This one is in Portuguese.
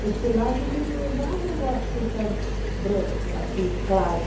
Porque lá a gente não usava o açúcar branco aqui, claro.